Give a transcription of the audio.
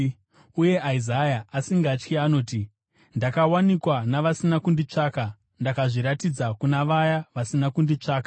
Uye Isaya, asingatyi anoti, “Ndakawanikwa navasina kunditsvaka; ndakazviratidza kuna vaya vasina kunditsvaka.”